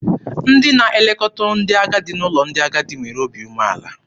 Ndị na-elekọta ndị agadi n'ụlọ ndị agadi nwere obi umeala.